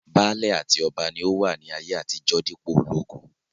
Baálẹ̀ àti ọba ni ó wà ní ayé àtijó dípò ológun